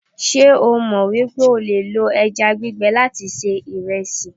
se o mo wipe o le lo eja gbigbe lati se iresi?